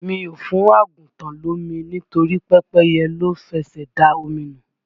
Mi ò fún àgùntàn lomi nítorí pẹ́pẹ́yẹ ló fẹsè da omi nu.